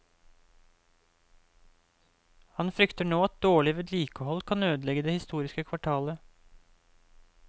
Han frykter nå at dårlig vedlikehold kan ødelegge det historiske kvartalet.